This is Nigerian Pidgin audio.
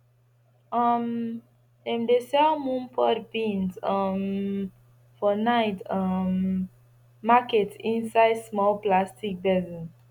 um dem dey sell moon pod beans um for night um market inside small plastic basin